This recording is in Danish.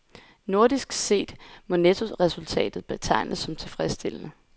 Nordisk set må nettoresultatet betegnes som tilfredsstillende.